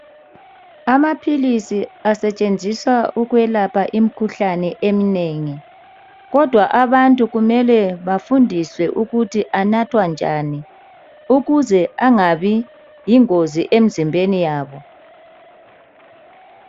Amaphilisi asetshenziswa ukwelapha imikhuhlane eminengi, kodwa abantu kumele bafundiswe ukuthi anathwa njani, ukuze angabi yingozi emizimbeni yabo.